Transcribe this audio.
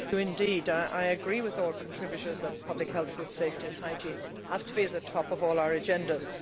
Madam President, I agree with all contributors that public health, food safety and hygiene have to be at the top of all our agendas.